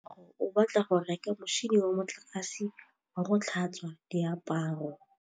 Katlego o batla go reka motšhine wa motlakase wa go tlhatswa diaparo.